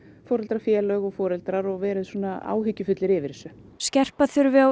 foreldrafélög og foreldrar og verið svona áhyggjufull yfir þessu skerpa þurfi á